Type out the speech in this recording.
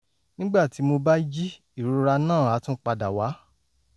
nígbà tí mo bá jí ìrora náà á tún padà wá